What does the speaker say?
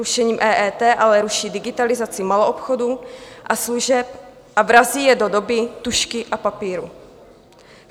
Rušením EET ale ruší digitalizaci maloobchodu a služeb a vrací je do doby tužky a papíru.